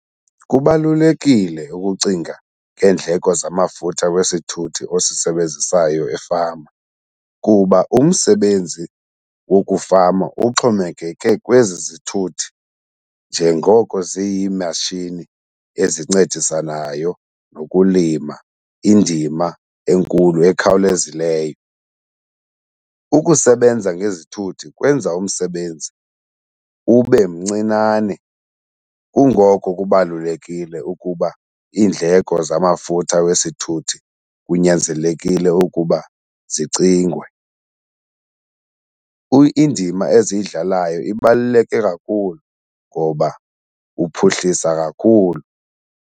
Kubalulekile ukucinga ngeendleko zamafutha wesithuthi ozisebenzisayo efama kuba umsebenzi wokufama uxhomekeke kwezi zithuthi njengoko ziyimashini ezincedisanayo nokulima indima enkulu, ekhawulezileyo. Ukusebenza ngezithuthi kwenza umsebenzi ube mncinane kungoko kubalulekile ukuba iindleko zamafutha wesithuthi kunyanzelekile ukuba zicingwe. Indima eziyidlalayo ibaluleke kakhulu ngoba uphuhlisa kakhulu.